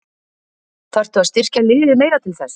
Þarftu að styrkja liðið meira til þess?